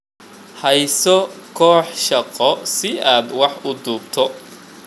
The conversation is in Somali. Hayso koox shaqo si aad wax u duubto.